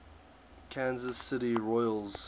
kansas city royals